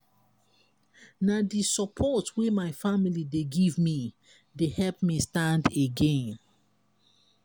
na di support wey my family dey give me dey help me stand again.